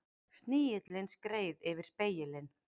Snigillinn skreið yfir spegilinn.